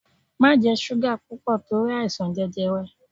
Má jẹ súgà púpọ̀ torí àìsàn jẹjẹrẹ!